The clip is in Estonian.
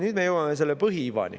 Nüüd me jõuame selle põhiivani.